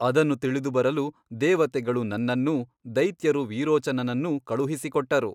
ಅದನ್ನು ತಿಳಿದುಬರಲು ದೆವತೆಗಳು ನನ್ನನ್ನೂ ದೈತ್ಯರು ವಿರೋಚನನನ್ನೂ ಕಳುಹಿಸಿಕೊಟ್ಟರು.